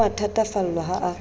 o a thatafallwa ha a